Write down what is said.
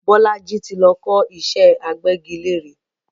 Bolaji tí lọ kọ́ ìṣẹ́ agbẹ́gilére